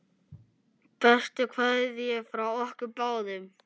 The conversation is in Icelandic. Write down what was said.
Bestu kveðjur frá okkur báðum.